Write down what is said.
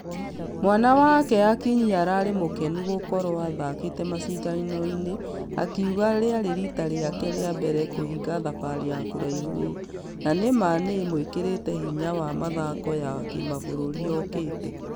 Mwana wake akinyi ararĩ mũkenu gũkorwo athakĩte mashidano-inĩ akĩuga rĩare rita rĩake rĩa mbere kũhingq thabarĩ ya kũraihu Ũũ. Na nĩ ma nĩĩmũĩkĩrete hinya wa mĩthako ya kĩmabũrũri yokĩte.